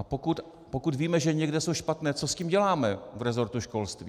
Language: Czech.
A pokud víme, že někde jsou špatné, co s tím děláme v resortu školství?